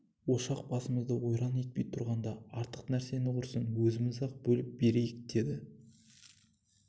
ошақ басымызды ойран етпей тұрғанда артык нәрсені құрысын өзіміз-ақ бөліп берейік деді